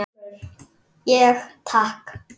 Ég: Takk.